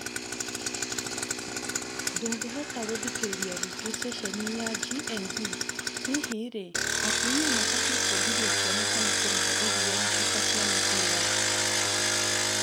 Ndũngĩhota gũthikĩrĩria rĩngĩ ceceni ya GNB hihi rĩ atumia mabatie kwongithia ciana kana kũmahe iria na cuba cia mibira?